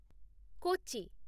Kochi